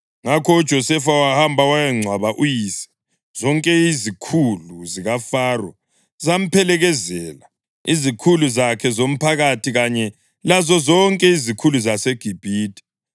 Ngakho uJosefa wahamba wayangcwaba uyise. Zonke izikhulu zikaFaro zamphelekezela, izikhulu zakhe zomphakathi kanye lazozonke izikhulu zaseGibhithe,